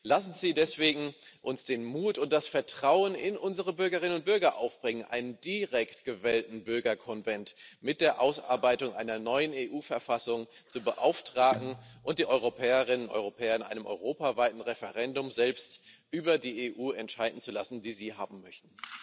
Lassen Sie uns deswegen den Mut und das Vertrauen in unsere Bürgerinnen und Bürger aufbringen, einen direkt gewählten Bürgerkonvent mit der Ausarbeitung einer neuen EU Verfassung zu beauftragen und die Europäerinnen und Europäer in einem europaweiten Referendum selbst über die EU entscheiden zu lassen, die Sie haben möchten.